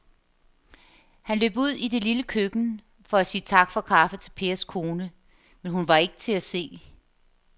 Han løb ud i det lille køkken for at sige tak for kaffe til Pers kone, men hun var ikke til at se.